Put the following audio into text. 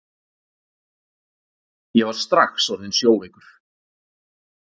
Ég var strax orðinn sjóveikur!